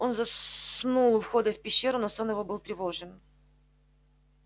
он заснул у входа в пещеру но сон его был тревожен